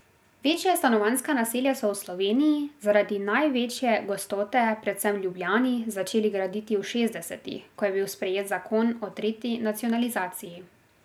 Večja stanovanjska naselja so v Sloveniji, zaradi največje gostote predvsem v Ljubljani, začeli graditi v šestdesetih, ko je bil sprejet zakon o tretji nacionalizaciji.